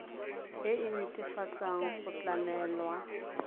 e e netefatsang go tlamelwa